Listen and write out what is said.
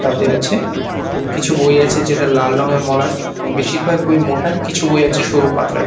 তাতে আছে কিছু বই আছে যেটার লাল রঙের মলাট এবং বেশিরভাগ বই মোটা কিছু বই আছে সরু পাতলা।